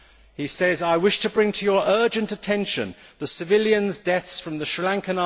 He says I wish to bring to your urgent attention the civilian deaths in Sri Lanka.